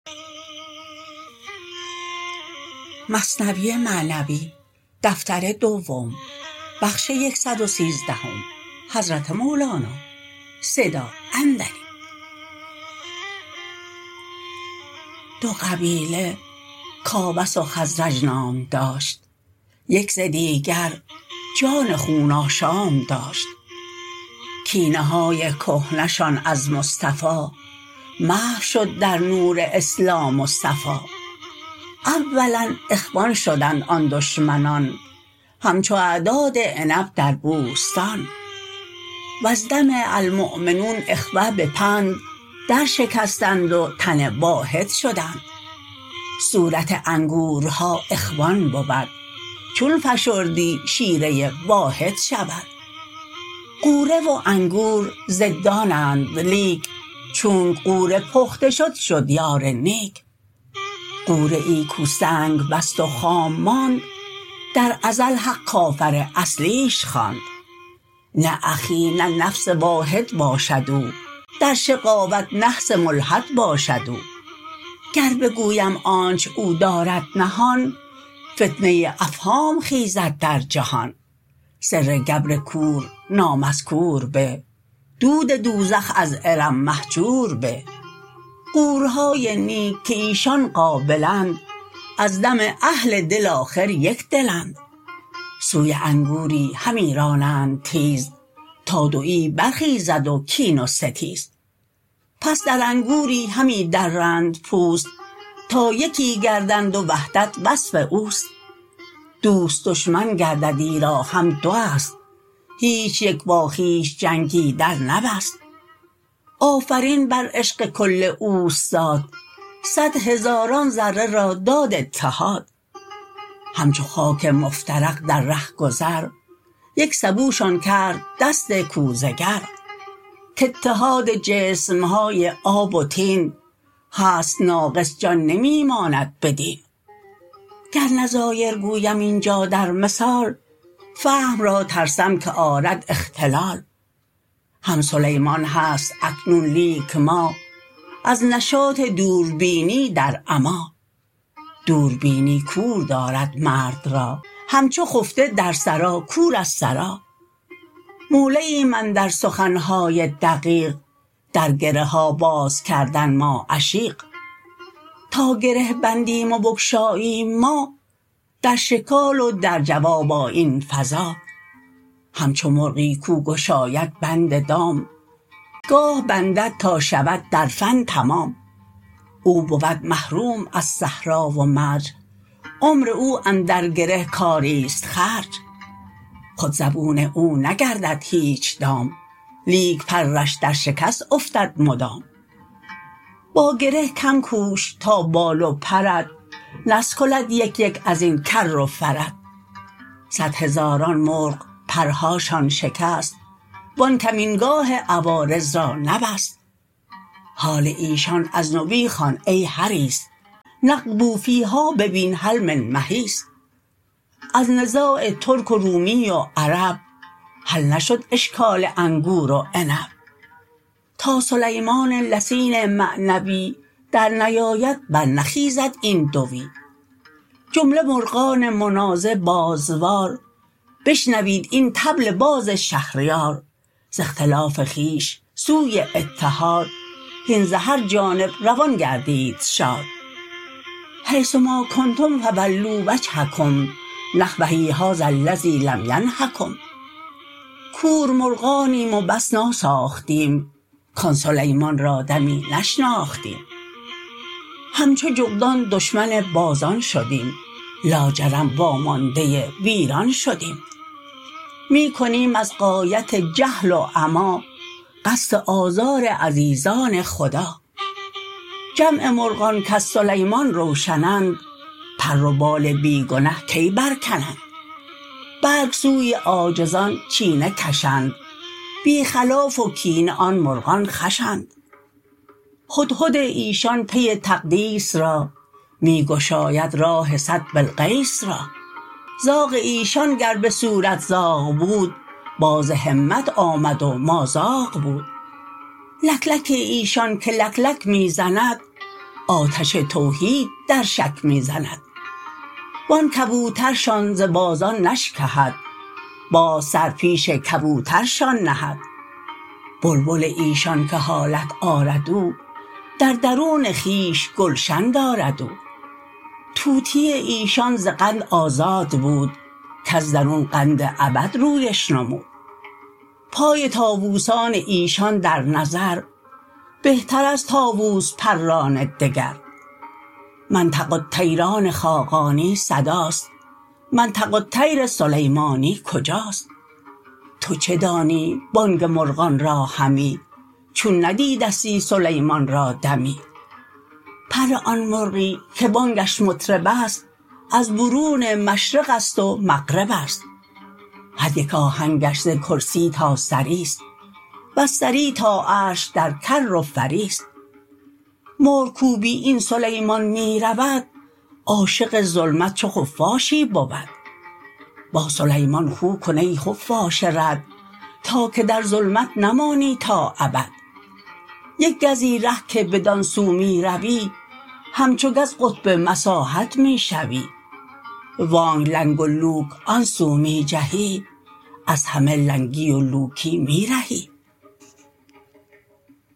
دو قبیله کاوس و خزرج نام داشت یک ز دیگر جان خون آشام داشت کینه های کهنه شان از مصطفی محو شد در نور اسلام و صفا اولا اخوان شدند آن دشمنان همچو اعداد عنب در بوستان وز دم المؤمنون اخوه به پند در شکستند و تن واحد شدند صورت انگورها اخوان بود چون فشردی شیره واحد شود غوره و انگور ضدانند لیک چونک غوره پخته شد شد یار نیک غوره ای کو سنگ بست و خام ماند در ازل حق کافر اصلیش خواند نه اخی نه نفس واحد باشد او در شقاوت نحس ملحد باشد او گر بگویم آنچ او دارد نهان فتنه افهام خیزد در جهان سر گبر کور نامذکور به دود دوزخ از ارم مهجور به غوره های نیک که ایشان قابلند از دم اهل دل آخر یک دلند سوی انگوری همی رانند تیز تا دوی بر خیزد و کین و ستیز پس در انگوری همی درند پوست تا یکی گردند و وحدت وصف اوست دوست دشمن گردد ایرا هم دواست هیچ یک با خویش جنگی در نبست آفرین بر عشق کل اوستاد صد هزاران ذره را داد اتحاد همچو خاک مفترق در ره گذر یک سبوشان کرد دست کوزه گر که اتحاد جسمهای آب و طین هست ناقص جان نمی ماند بدین گر نظایر گویم اینجا در مثال فهم را ترسم که آرد اختلال هم سلیمان هست اکنون لیک ما از نشاط دوربینی در عمی دوربینی کور دارد مرد را همچو خفته در سرا کور از سرا مولعیم اندر سخنهای دقیق در گره ها باز کردن ما عشیق تا گره بندیم و بگشاییم ما در شکال و در جواب آیین فزا همچو مرغی کو گشاید بند دام گاه بندد تا شود در فن تمام او بود محروم از صحرا و مرج عمر او اندر گره کاریست خرج خود زبون او نگردد هیچ دام لیک پرش در شکست افتد مدام با گره کم کوش تا بال و پرت نسکلد یک یک ازین کر و فرت صد هزاران مرغ پرهاشان شکست و آن کمین گاه عوارض را نبست حال ایشان از نبی خوان ای حریص نقبوا فیها ببین هل من محیص از نزاع ترک و رومی و عرب حل نشد اشکال انگور و عنب تا سلیمان لسین معنوی در نیاید بر نخیزد این دوی جمله مرغان منازع بازوار بشنوید این طبل باز شهریار ز اختلاف خویش سوی اتحاد هین ز هر جانب روان گردید شاد حیث ما کنتم فولوا وجهکم نحوه هذا الذی لم ینهکم کور مرغانیم و بس ناساختیم کان سلیمان را دمی نشناختیم همچو جغدان دشمن بازان شدیم لاجرم وا مانده ویران شدیم می کنیم از غایت جهل و عما قصد آزار عزیزان خدا جمع مرغان کز سلیمان روشنند پر و بال بی گنه کی برکنند بلک سوی عاجزان چینه کشند بی خلاف و کینه آن مرغان خوشند هدهد ایشان پی تقدیس را می گشاید راه صد بلقیس را زاغ ایشان گر بصورت زاغ بود باز همت آمد و مازاغ بود لکلک ایشان که لک لک می زند آتش توحید در شک می زند و آن کبوترشان ز بازان نشکهد باز سر پیش کبوترشان نهد بلبل ایشان که حالت آرد او در درون خویش گلشن دارد او طوطی ایشان ز قند آزاد بود کز درون قند ابد رویش نمود پای طاووسان ایشان در نظر بهتر از طاووس پران دگر منطق الطیر آن خاقانی صداست منطق الطیر سلیمانی کجاست تو چه دانی بانگ مرغان را همی چون ندیدستی سلیمان را دمی پر آن مرغی که بانگش مطربست از برون مشرقست و مغربست هر یک آهنگش ز کرسی تا ثریست وز ثری تا عرش در کر و فریست مرغ کو بی این سلیمان می رود عاشق ظلمت چو خفاشی بود با سلیمان خو کن ای خفاش رد تا که در ظلمت نمانی تا ابد یک گزی ره که بدان سو می روی همچو گز قطب مساحت می شوی وانک لنگ و لوک آن سو می جهی از همه لنگی و لوکی می رهی